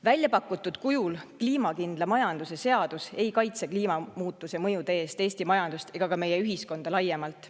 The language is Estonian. Väljapakutud kujul ei kaitse kliimakindla majanduse seadus kliimamuutuse mõjude eest Eesti majandust ega ka meie ühiskonda laiemalt.